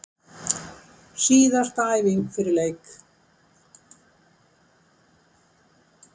Síðasta æfing fyrir leik!